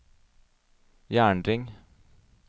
jernring